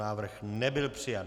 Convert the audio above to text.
Návrh nebyl přijat.